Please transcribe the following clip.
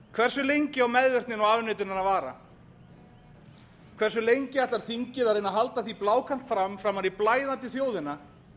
hversu lengi á meðvirknin og afneitunin að vara hversu lengi ætlar þingið að reyna að halda því blákalt fram framan í blæðandi þjóðina